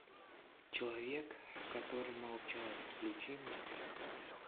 человек который молчал включи мне